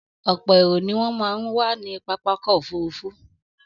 Ọ̀pọ̀ èrò ni ó máa ń wà ní pápákọ̀ òfúrufú